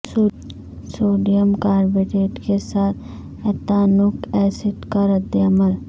sodium carbonate کے ساتھ ethanoic acid کا رد عمل